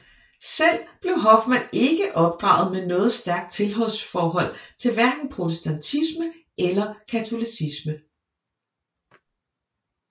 Selv blev Hoffman ikke opdraget med noget stærkt tilhørsforhold til hverken protestantisme eller katolicisme